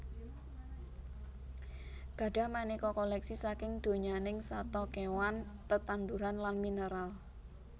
Gadhah manéka kolèksi saking donyaning sato kéwan tetanduran lan mineral